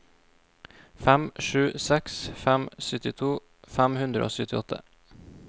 fem sju seks fem syttito fem hundre og syttiåtte